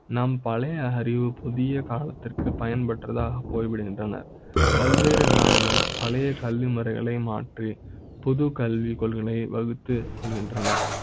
நான் பழைய அறிவு புதிய காலத்திற்கு பயன்படுத்த போய்விடுகின்றன பல்வேறு நாடுகள் பழைய கல்வி முறைகளை மாற்றி புது கல்வி கொள்கையை வகுத்து கொள்கின்றன